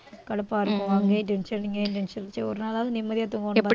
கடுப்ப இருக்கு அங்கையும் tension இங்கயும் tension சரி ஒரு நாளாவது நிம்மதியா தூங்கணும்